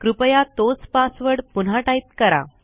कृपया तोच पासवर्ड पुन्हा टाईप करा